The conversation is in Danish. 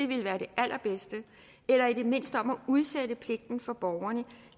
ville være det allerbedste eller i det mindste om at udsætte pligten for borgerne